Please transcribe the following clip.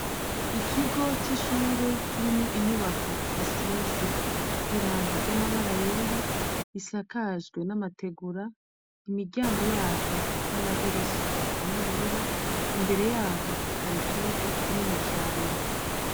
Ikigo c'ishure kirimwo inyubako isize n'irangi ry'amabara yera, isakajwe namategura, imiryango yaryo n'amadirisha asa n'ubururu, imbere yaho hari ikibuga kinini cane.